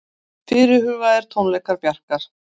Fyrirhugaðir tónleikar Bjarkar